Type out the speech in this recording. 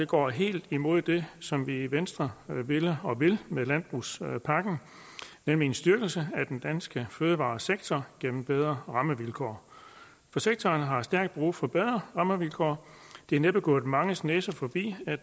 går helt imod det som vi i venstre ville og vil med landbrugspakken nemlig en styrkelse af den danske fødevaresektor gennem bedre rammevilkår sektoren har stærkt brug for bedre rammevilkår det er næppe gået manges næser forbi at